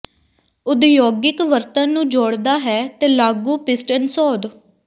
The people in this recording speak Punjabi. ਉਦਯੋਗਿਕ ਵਰਤਣ ਨੂੰ ਜੋਡ਼ਦਾ ਹੈ ਤੇ ਲਾਗੂ ਪਿਸਟਨ ਸੋਧ